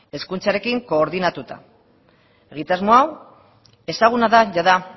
hezkuntzarekin koordinatuta egitasmo hau ezaguna da jada